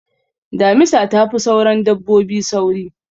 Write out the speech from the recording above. Damisa ta fi sauran dabbobi sauri.